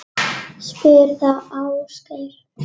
Spyr þá Ásgeir.